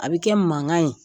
A bi kɛ mankan ye.